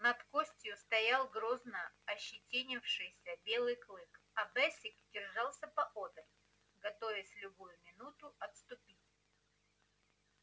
над костью стоял грозно ощетинившийся белый клык а бэсик держался поодаль готовясь в любую минуту отступить